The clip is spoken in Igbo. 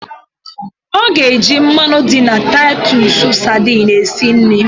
Ọ ga-ejị mmanụ dị na tatụsụ sadini esi nri